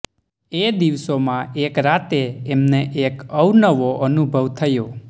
એ દિવસોમાં એક રાતે એમને એક અવનવો અનુભવ થયો